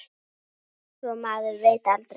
Svo maður veit aldrei.